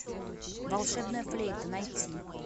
волшебная флейта найти